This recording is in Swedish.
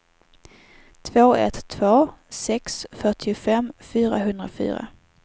två ett två sex fyrtiofem fyrahundrafyra